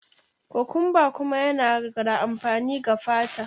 Cucumber kuma yana da amfani ga fata.